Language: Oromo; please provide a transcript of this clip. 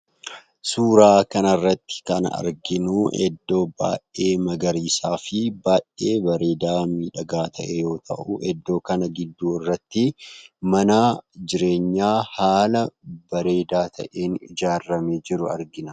Suuraa kana irratti kan arginu bakka maggariisa baay'ee bareedaafii miidhagaa ta'e yoo ta'u, iddoo kana gidduu irratti mana jireenyaa haala bareedaa ta'een ijaarame jiru argina.